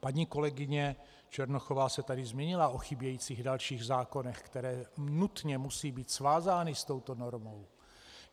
Paní kolegyně Černochová se tady zmínila o chybějících dalších zákonech, které nutně musí být svázány s touto normou.